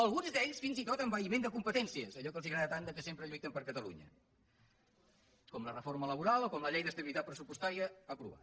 alguns d’ells fins i tot amb envaïment de competències allò que els agrada tant que sempre lluiten per catalunya com la reforma laboral o com la llei d’estabilitat pressupostària ha aprovat